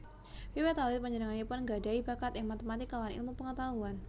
Wiwit alit panjenenganipun nggadhahi bakat ing matematika lan ilmu pangetahuan